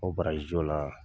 O la